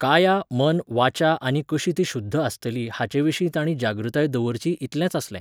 काया मन वाचा आनी कशी ती शुध्द आसतली हाचेविशी तांणी जागृताय दवरची इतलेंच आसलें